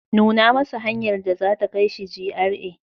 Nuna masa hanyar da za ta kai shi GRA.